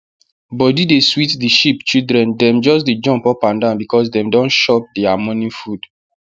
body dey sweet the sheep children dem just dey jumpt upandan because dem don shop their morning food